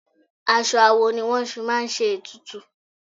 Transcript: Aṣọ awo ni wọ́n fi máa ń ṣe ètùtù.